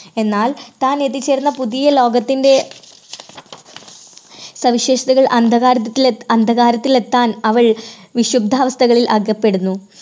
എന്നാൽ താൻ എത്തിച്ചേർന്ന പുതിയ ലോകത്തിൻറെ സവിശേഷതകൾ അന്ധകാരത്തിൽ എ, അന്ധകാരത്തിൽ എത്താൻ അവൾ വിശുദ്ധ കെണിയിൽ അകപ്പെടുന്നു.